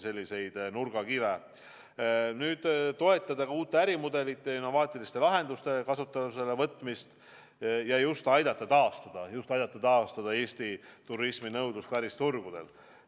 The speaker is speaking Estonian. Samuti tahame toetada uute ärimudelite, innovaatiliste lahenduste kasutusele võtmist ja aidata taastada Eesti turismi nõudlust välisturgudel.